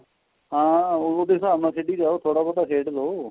ਹਾਂ ਉਹਦੇ ਹਿਸਾਬ ਨਾਲ ਖੇਡੀ ਜੋ ਥੋੜਾ ਬਹੁਤਾ ਖੇਡ ਲੋ